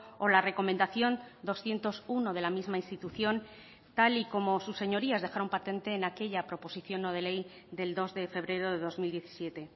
o la recomendación doscientos uno de la misma institución tal y como sus señorías dejaron patente en aquella proposición no de ley del dos de febrero de dos mil diecisiete